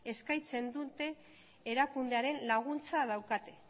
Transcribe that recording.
eskaintzen dute erakundearen laguntza daukate